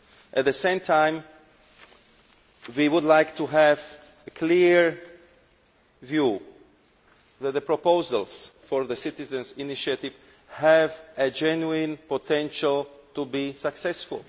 At the same time, we would like to have a clear view that the proposals for the citizens' initiative have a genuine potential to be successful.